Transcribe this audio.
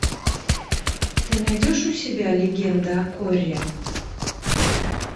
ты найдешь у себя легенда о корре